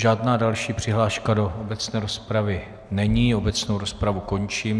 Žádná další přihláška do obecné rozpravy není, obecnou rozpravu končím.